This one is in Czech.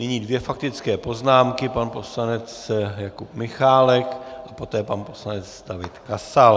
Nyní dvě faktické poznámky - pan poslanec Jakub Michálek a poté pan poslanec David Kasal.